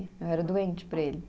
Eu era doente por ele.